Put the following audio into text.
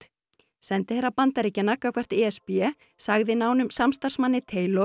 sendiherra Bandaríkjanna gagnvart e s b sagði nánum samstarfsmanni